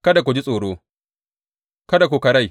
Kada ku ji tsoro; kada ku karai.